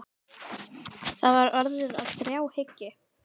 Það var orðið að þráhyggju.